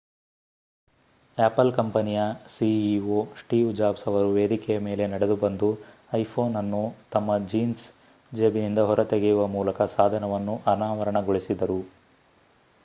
apple ಕಂಪನಿಯ ceo Steve Jobs ಅವರು ವೇದಿಕೆಯ ಮೇಲೆ ನಡೆದುಬಂದು ಐಫೋನ್ ಅನ್ನು ತಮ್ಮ ಜೀನ್ಸ್ ಜೇಬಿನಿಂದ ಹೊರತೆಗೆಯುವ ಮೂಲಕ ಸಾಧನವನ್ನು ಅನಾವರಣಗೊಳಿಸಿದರು